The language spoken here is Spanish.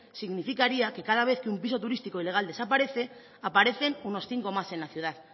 significaría que cada vez que un piso turístico ilegal desaparece aparecen unos cinco más en la ciudad